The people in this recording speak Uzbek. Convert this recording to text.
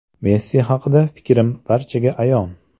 Messi haqida fikrim barchaga ayon.